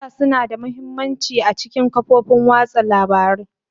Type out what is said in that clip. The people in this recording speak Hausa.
Data suna da mahimmanci a cikin kafofin watsa labarun.